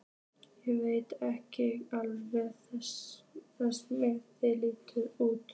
Ég veit ekki hvernig þessi manneskja lítur út.